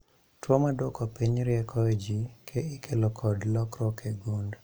Tuo maduoko piny rieko e jii ikelo kod lokruok e gund